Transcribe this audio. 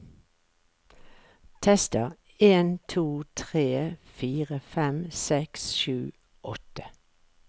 Tester en to tre fire fem seks sju åtte